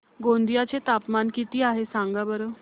गोंदिया चे तापमान किती आहे सांगा बरं